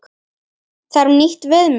Þarf nýtt viðmið?